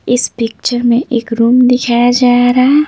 इस पिक्चर में एक रूम दिखाया जा रहा है।